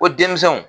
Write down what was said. Ko denmisɛnw